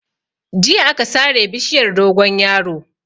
Jiya aka sare bishiyar dogonyaro.